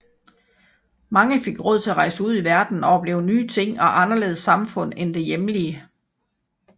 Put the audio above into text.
Mange fik råd til at rejse ud i verden og opleve nye ting og anderledes samfund end det hjemlige